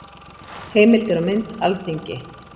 Heimildir og mynd: Alþingi.